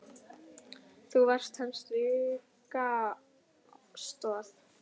Þú varst hans styrka stoð.